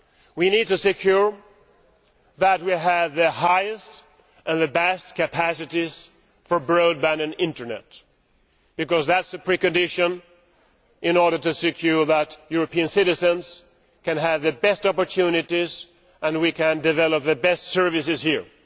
We need to secure that we have the highest and the best capacities for broadband and Internet, because is the pre condition in order to secure that European citizens can have the best opportunities and we can develop the best services here.